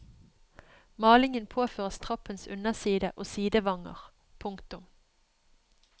Malingen påføres trappens underside og sidevanger. punktum